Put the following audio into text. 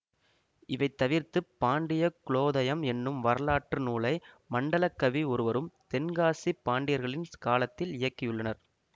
இவை தவிர்த்து பாண்டிய குலோதயம் என்னும் வரலாற்று நூலை மண்டலக்கவி ஒருவரும் தென்காசி பாண்டியர்களின் காலத்தில் இயக்கியுள்ளனர்